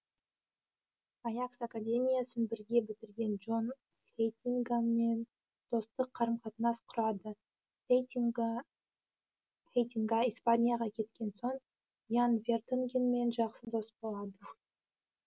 аякс академиясын бірге бітірген джон хейтингамен достық қарым қатынас құрады хейтинга испанияға кеткен сон ян вертонгенмен жақсы дос болады